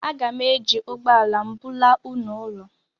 Aga m eji ụgbọ ala m bulaa unu ụlọ